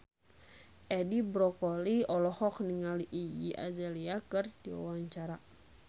Edi Brokoli olohok ningali Iggy Azalea keur diwawancara